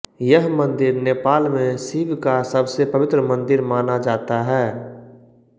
यह मंदिर नेपाल में शिव का सबसे पवित्र मंदिर माना जाता है